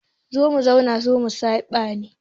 Zo mu zauna zo mu saɓa ne.